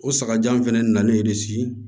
O sagajan fɛnɛ nalen de si